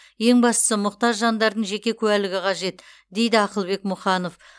ең бастысы мұқтаж жандардың жеке куәлігі қажет дейді ақылбек мұханов